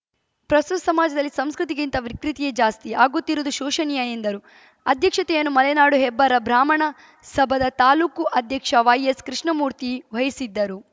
ಪ್ರಸ್ತುಸ ಸಮಾಜದಲ್ಲಿ ಸಂಸ್ಕೃತಿಗಿಂತ ವಿಕೃತಿಯೇ ಜಾಸ್ತಿ ಆಗುತ್ತಿರುವುದು ಶೋಷನೀಯ ಎಂದರು ಅಧ್ಯಕ್ಷತೆಯನ್ನು ಮಲೆನಾಡು ಹೆಬ್ಬಾರ ಬ್ರಾಹ್ಮಣ ಸಭಾದ ತಾಲೂಕು ಅಧ್ಯಕ್ಷ ವೈಎಸ್‌ ಕೃಷ್ಣಮೂರ್ತಿ ವಹಿಸಿದ್ದರು